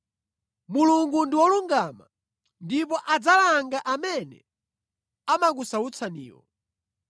Mulungu ndi wolungama ndipo adzalanga amene amakusautsaniwo